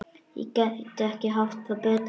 Gæti ekki haft það betra.